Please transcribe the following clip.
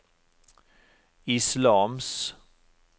islams